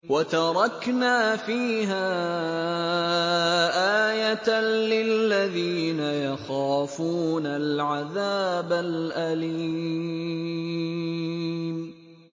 وَتَرَكْنَا فِيهَا آيَةً لِّلَّذِينَ يَخَافُونَ الْعَذَابَ الْأَلِيمَ